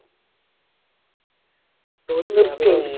ഓര് നിർത്തിയോ ഇടിച്ചിട്ട്?